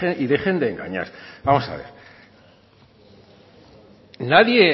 y dejen de engañar vamos a ver